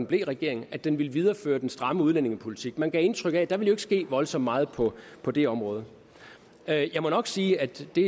blev regering at den ville videreføre den stramme udlændingepolitik man gav indtryk af at der ikke ville ske voldsomt meget på på det område jeg jeg må nok sige at det